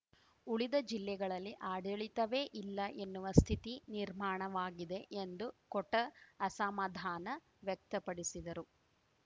ಉಳಿದ ಜಿಲ್ಲೆಗಳಲ್ಲಿ ಆಡಳಿತವೇ ಇಲ್ಲ ಎನ್ನುವ ಸ್ಥಿತಿ ನಿರ್ಮಾಣವಾಗಿದೆ ಎಂದು ಕೊಟ್ಟ ಅಸಮಾಧಾನ ವ್ಯಕ್ತಪಡಿಸಿದರು